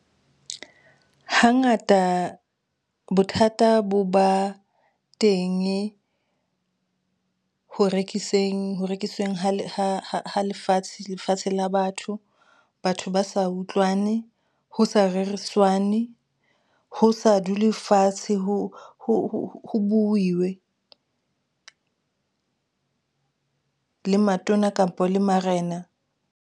Hangata bothata bo ba tenge ho rekiseng, ho rekiseng ha lefatshe la batho. Batho ba sa sa utlwane, ho sa reriswane ho sa dulwe fatshe ho buiwe le matona kampo le marena.